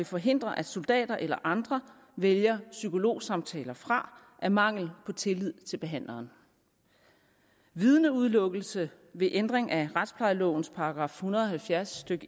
forhindre at soldater eller andre vælger psykologsamtaler fra af mangel på tillid til behandleren vidneudelukkelse ved ændring af retsplejelovens § en hundrede og halvfjerds stykke